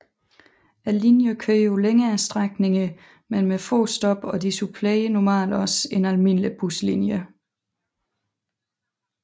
Linjerne kørte på længere strækninger men med få stop og de supplerede normalt også en almindelig buslinje